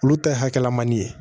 Olu ta ye hakilinan di ye